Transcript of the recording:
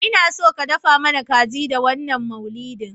Inaso ka dafa mana kaji da wannan maulidin